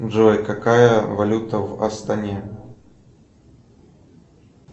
джой какая валюта в астане